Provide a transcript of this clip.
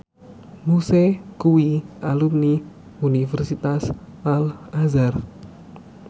Muse kuwi alumni Universitas Al Azhar